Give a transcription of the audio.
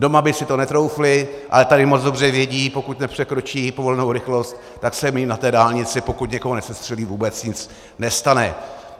Doma by si to netroufli, ale tady moc dobře vědí, pokud nepřekročí povolenou rychlost, tak se jim na té dálnici, pokud někoho nesestřelí, vůbec nic nestane.